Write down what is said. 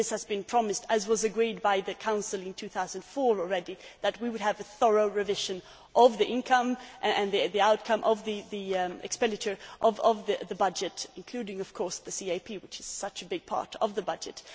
it was promised as was agreed by the Council in 2004 already that we would have a thorough revision of the income and the outcome of the expenditure of the budget including, of course, the CAP, which is such a big part of the budget.